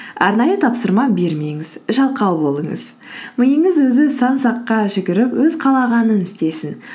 арнайы тапсырма бермеңіз жалқау болыңыз миыңыз өзі сан саққа жүгіріп өз қалағанын істесін